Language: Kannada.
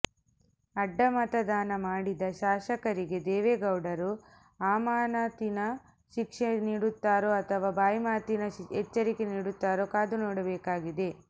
ಅಡ್ಡಮತದಾನ ಮಾಡಿದ ಶಾಸಕರಿಗೆ ದೇವೇಗೌಡರು ಅಮಾನತಿನ ಶಿಕ್ಷೆ ನೀಡುತ್ತಾರೊ ಅಥವಾ ಬಾಯಿಮಾತಿನ ಎಚ್ಚರಿಕೆ ನೀಡುತ್ತಾರೋ ಕಾದುನೋಡಬೇಕಾಗಿದೆ